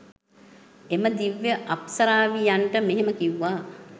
එම දිව්‍ය අප්සරාවියන්ට මෙහෙම කිව්වා.